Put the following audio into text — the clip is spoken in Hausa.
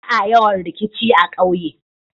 Ba'a yawan rikici a ƙauye.